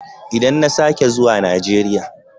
Idan na sake zuwa Najeriya.